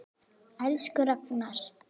Elsku Ragnar.